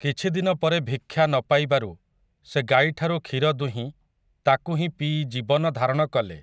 କିଛିଦିନ ପରେ ଭିକ୍ଷା ନ ପାଇବାରୁ ସେ ଗାଈଠାରୁ କ୍ଷୀର ଦୁହିଁ ତାକୁ ହିଁ ପିଇ ଜୀବନ ଧାରଣ କଲେ ।